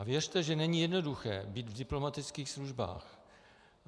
A věřte, že není jednoduché být v diplomatických službách.